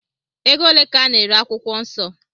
Ego ole ka a na-ere akwụkwọ nsọ?